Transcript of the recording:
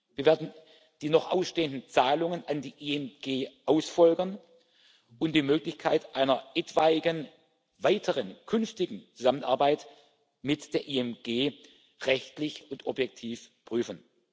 Wir werden die noch ausstehenden Zahlungen an die IMG ausführen und die Möglichkeit einer etwaigen weiteren künftigen Zusammenarbeit mit der IMG rechtlich und objektiv prüfen.